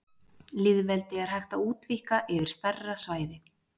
Lýðveldi er hægt útvíkka yfir stærri svæði.